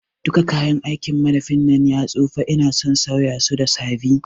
Duka kayan aikin madafin nan ya tsufa ina son sauya su da sabi